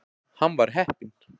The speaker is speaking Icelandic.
Hann var heppinn.